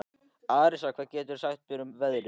Arisa, hvað geturðu sagt mér um veðrið?